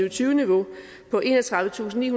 og tyve niveau på enogtredivetusinde